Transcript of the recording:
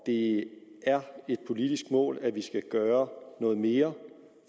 det er et politisk mål at vi skal gøre noget mere